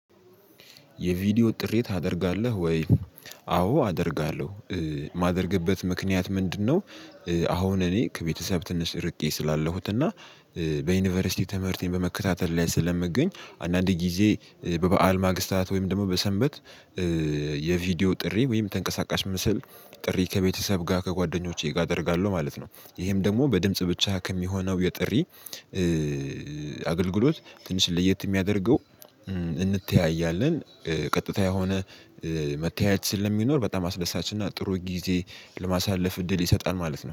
የቪዲዮ ጥሪ ታደርጋለህ ወይ? አዎ አደርጋለሁ የማደርግበት ምክንያት ምንድነው አሁን እኔ ከቤተሰብ ትንሽ ርቄ ስላለሁት እና በዩኒቨርሲቲ ትምህርቴን በመከታተል ላይ ስለምገኝ አንዳንድ ጊዜ በበዓል ማግስታት ወይም ደግሞ በሰንበት የቪዲዮ ጥሪ ወይም ተንቀሳቃሽ ምስል ጥሪ ከቤተሰብ ጋር ከጓደኞቼ ጋር አደርጋለሁ ማለት ነው። ይሄም ደግሞ በድምጽ ብቻ ከሚሆነው የጥሪ አገልግሎት ትንሽ ለየት የሚያደርገው እንተያያለን ቀጥታ የሆነ መተያየት ስለሚኖር በጣም አስደሳች እና ጥሩ ጊዜ ለማሳለፍ እድል ይሰጣል ማለት ነው።